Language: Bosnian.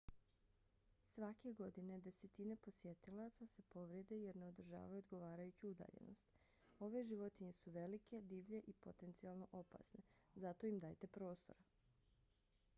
svake godine desetine posjetilaca se povrijede jer ne održavaju odgovarajuću udaljenost. ove životinje su velike divlje i potencijalno opasne. zato im dajte prostora